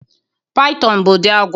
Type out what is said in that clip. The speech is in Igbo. Python bụ ụdị agwọ